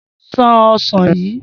S̩an o̩sàn yìí!